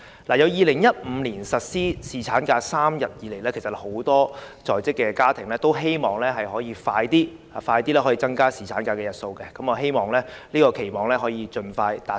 自2015年實施3天侍產假以來，很多在職家庭均希望盡快增加侍產假日數，我希望這個期望可盡快達成。